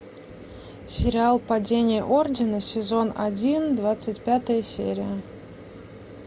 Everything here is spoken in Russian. сериал падение ордена сезон один двадцать пятая серия